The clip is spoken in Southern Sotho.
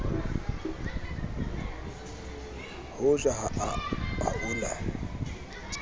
ho ja ha o na